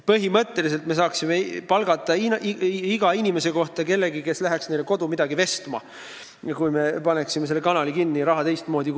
Põhimõtteliselt me saaksime iga inimese kohta palgata kellegi, kes läheks neile koju midagi vestma, kui me paneksime selle kanali kinni ja kulutaks raha teistmoodi.